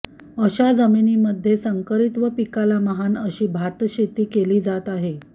अशा जमिनीमध्ये संकरित व पीकाला महान अशी भात शेती केली जात आहे